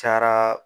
Cayara